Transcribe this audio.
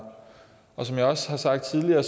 og som jeg også har sagt tidligere